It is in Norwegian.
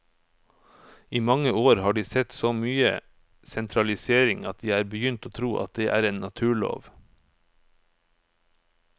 I mange år har de sett så mye sentralisering at de er begynt å tro at det er en naturlov.